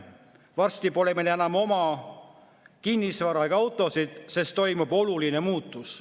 Varsti pole meil enam oma kinnisvara ega autosid, sest toimub oluline muutus.